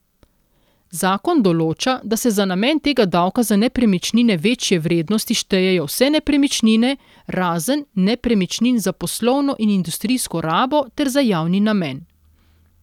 Zakon določa, da se za namen tega davka za nepremičnine večje vrednosti štejejo vse nepremičnine, razen nepremičnin za poslovno in industrijsko rabo ter za javni namen.